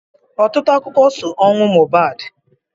Ọtụtụ akụkọ so ọnwụ Mohbad.